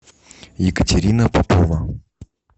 екатерина попова